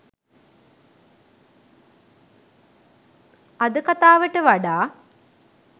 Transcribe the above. අද කතාවට වඩා